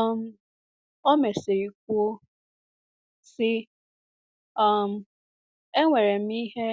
um O mesịrị kwuo sị, um “ enwere m ihe